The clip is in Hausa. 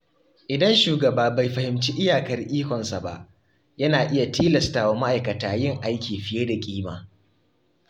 Idan shugaba bai fahimci iyakar ikonsa ba, yana iya tilastawa ma’aikata yin aiki fiye da ƙima.